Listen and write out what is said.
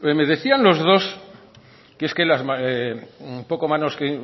me decían los dos que